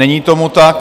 Není tomu tak.